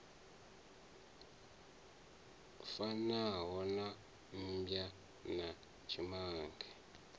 fanaho na mmbwa na tshimange